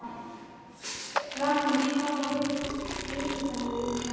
Rafnar, hvaða vikudagur er í dag?